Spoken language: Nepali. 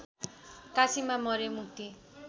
काशीमा मरे मुक्ति